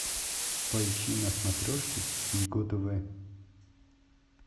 поищи на смотрешке его тв